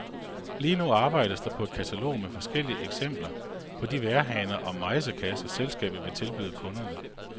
Lige nu arbejdes der på et katalog med forskellige eksempler på de vejrhaner og mejsekasser, selskabet vil tilbyde kunderne.